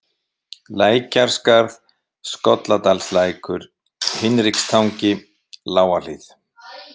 Lækjarskarð, Skolladalslækur, Hinrikstangi, Lágahlíð